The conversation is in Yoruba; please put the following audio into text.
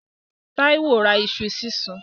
Táíwó ra iṣu sísun.